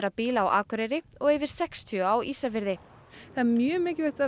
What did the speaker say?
bíla á Akureyri og yfir sextíu á Ísafirði það er mjög mikilvægt að